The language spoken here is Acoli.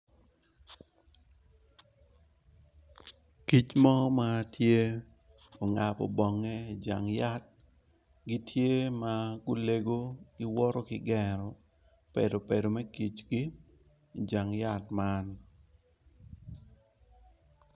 Kic mo matye ongabo bonge i jang yat gitye ma gulego giwoto kigero bedo bedo me kicgi ijang yat man.